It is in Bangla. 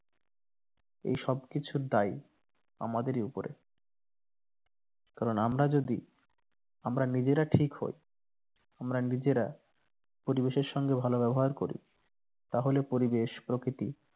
এই সব কিছুর দায় আমাদেরই উপরে কারণ আমরা যদি আমরা নিজেরা ঠিক হই আমরা নিজেরা পরিবেশের সঙ্গে ভালো ব্যবহার করি তাহলে পরিবেশ প্রকৃতি